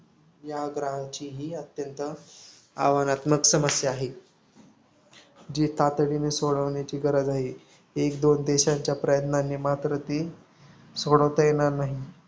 या ग्रहाची ही अत्यंत आव्हानात्मक समस्या आहे. जी सोडवण्याची गरज आहे. एकदोन देशांच्या प्रयत्नाने मात्र ती सोडवता येणार नाही.